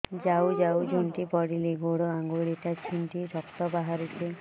ଯାଉ ଯାଉ ଝୁଣ୍ଟି ପଡ଼ିଲି ଗୋଡ଼ ଆଂଗୁଳିଟା ଛିଣ୍ଡି ରକ୍ତ ବାହାରୁଚି